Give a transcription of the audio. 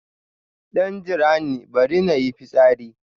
Dan jirani, bari in yi fitsari.